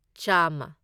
ꯆꯥꯝꯃ